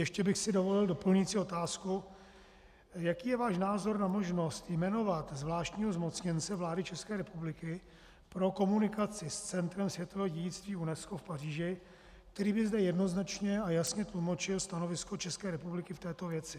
Ještě bych si dovolil doplňující otázku: Jaký je váš názor na možnost jmenovat zvláštního zmocněnce vlády České republiky pro komunikaci s centrem světového dědictví UNESCO v Paříži, který by zde jednoznačně a jasně tlumočil stanovisko České republiky v této věci?